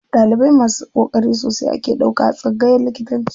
Ɗalibai masu ƙoƙari sosai ake ɗauka a tsangayan likitanci.